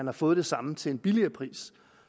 har fået det samme til en billigere pris